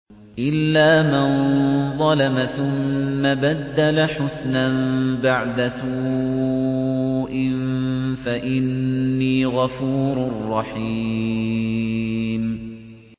إِلَّا مَن ظَلَمَ ثُمَّ بَدَّلَ حُسْنًا بَعْدَ سُوءٍ فَإِنِّي غَفُورٌ رَّحِيمٌ